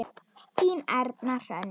Þín Erna Hrönn.